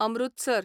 Amritsar